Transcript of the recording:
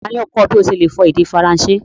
Tani o kọ ọ̀ bí o ṣe le fọ èdè Faransé?